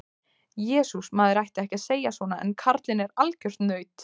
Jesús, maður ætti ekki að segja svona en karlinn er algjört naut.